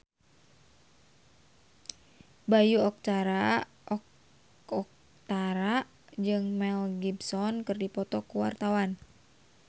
Bayu Octara jeung Mel Gibson keur dipoto ku wartawan